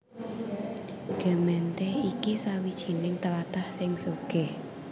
Gemeente iki sawijining tlatah sing sugih